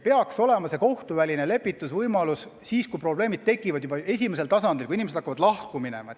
Kohtuväline lepitusvõimalus peaks olema siis, kui probleemid on alles esimesel tasandil tekkinud, kui inimesed alles hakkavad lahku minema.